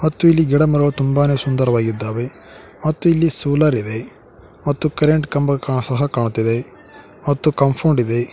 ಮತ್ತು ಇಲ್ಲಿ ಗಿಡಮರಗಳು ತುಂಬಾನೆ ಸುಂದರವಾಗಿದ್ದಾವೆ ಮತ್ತು ಇಲ್ಲಿ ಸೋಲಾರ್ ಇದೆ ಮತ್ತು ಕರೆಂಟ್ ಕಂಬ ಕಾಣ್ ಸಹಾ ಕಾಣುತ್ತಿದೆ ಮತ್ತು ಕಾಂಪೌಂಡ್ ಇದೆ.